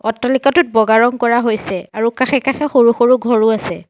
অট্টালিকাটোত বগা ৰং কৰা হৈছে আৰু কাষে কাষে সৰু সৰু ঘৰো আছে।